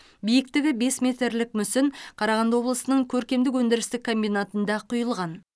биіктігі бес метрлік мүсін қарағанды облысының көркемдік өндірістік комбинатында құйылған